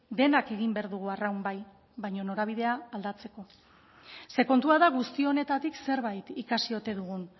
denak egin behar dugu arraun bai baina norabidea aldatzeko ze kontua da guzti honetatik zerbait ikasi ote dugun